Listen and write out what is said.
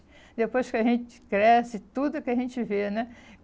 Depois que a gente cresce, tudo que a gente vê, né?